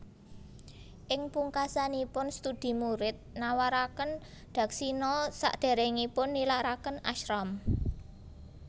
Ing pungkasanipun studi murid nawaraken dakshina sadéréngipun nilaraken ashram